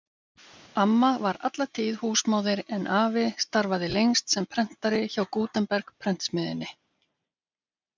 Amma var alla tíð húsmóðir en afi starfaði lengst sem prentari hjá Gutenberg-prentsmiðjunni.